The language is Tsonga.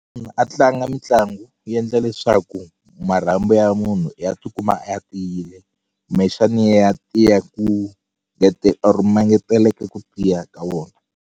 Munhu a tlanga mitlangu yi yendla leswaku marhambu ya munhu i ya tikuma ya tiyile kumbexani ya tiya ku or ma ngeteleka ku tiya ka wona.